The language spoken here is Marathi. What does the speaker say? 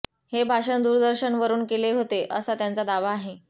हे भाषण दूरदर्शनवरून केले होते असा त्यांचा दावा आहे